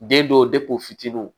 Den dɔw fitininw